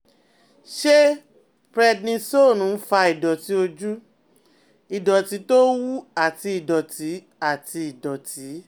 Ṣé prednisone ń fa ìdọ̀tí ojú, ìdọ̀tí tó ń wú àti ìdọ̀tí? àti ìdọ̀tí?